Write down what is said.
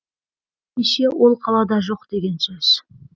ендеше ол қалада жоқ деген сөз